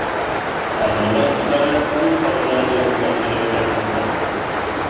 Ta’mirlash ishlari tez orada yakunlanishi aytilmoqda.